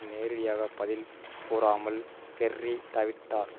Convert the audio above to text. நேரடியாக பதில் கூறாமல் கெர்ரி தவிர்த்தார்